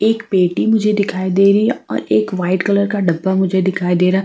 एक पेटी मुझे दिखाई दे रही है और एक वाइट कलर का डब्बा मुझे दिखाई दे रहा है।